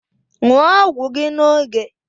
Ṅụọ ọgwụ gi n’oge